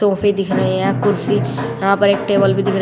दिख रही हैं कुर्सी यहां पर एक टेबल दिख रही--